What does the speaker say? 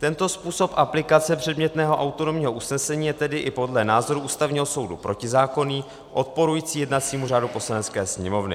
Tento způsob aplikace předmětného autonomního usnesení je tedy i podle názoru Ústavního soudu protizákonný, odporující jednacímu řádu Poslanecké sněmovny.